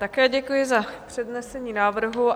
Také děkuji za přednesení návrhu.